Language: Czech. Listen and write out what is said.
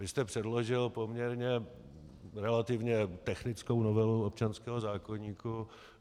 Vy jste předložil poměrně relativně technickou novelu občanského zákoníku.